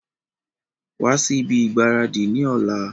Wa si ibi ìgbáradì ni ọ̀la!